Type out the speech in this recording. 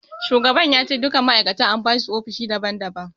Shugaban ya ce duka ma'aikatan an basu ofishi daban daban.